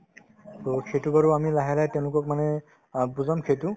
to সেইটো বাৰু আমি লাহে লাহে তেওঁলোকক মানে অ বুজাম সেইটো